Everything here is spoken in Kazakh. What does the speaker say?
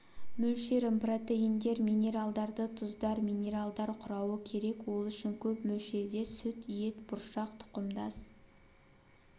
мөлшерін протеиндер минералдарды тұздар минералдар құрауы керек ол үшін көп мөлшерде сүт ет бұршақ тұқымдас